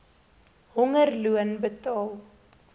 honger loon betaal